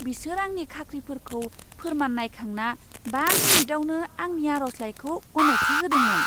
बिसोर आंनि खाख्रिफोरखौ फोर्मान नायखांना बा मिनिटावनो आंनि आर'जलाइखौ गनायथि होदोंमोन।